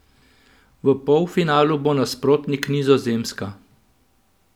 V polfinalu bo nasprotnik Nizozemska.